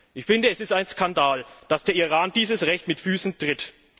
Ich finde, es ist ein Skandal, dass der Iran dieses Recht mit Füssen tritt.